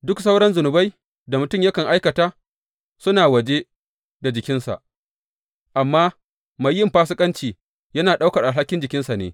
Duk sauran zunubai da mutum yakan aikata suna waje da jikinsa, amma mai yin fasikanci, yana ɗaukar alhalin jikinsa ne.